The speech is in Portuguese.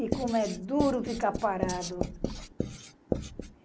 E como é duro ficar parado.